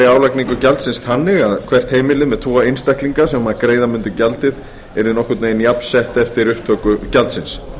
álagningu gjaldsins þannig að hvert heimili með tvo einstaklinga sem greiða mundu gjaldið yrði nokkurn veginn jafnsett eftir upptöku gjaldsins